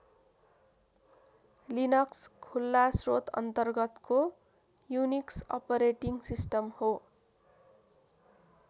Linux खुला श्रोत अन्तर्गतको युनिक्स अपरेटिङ सिस्टम हो।